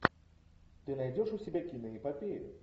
ты найдешь у себя киноэпопею